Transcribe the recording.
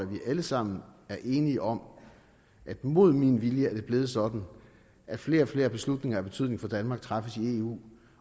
vi alle sammen er enige om at det mod min vilje er blevet sådan at flere og flere beslutninger af betydning for danmark træffes i eu